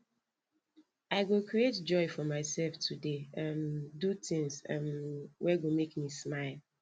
i go create joy for myself today um do tins um wey go make me smile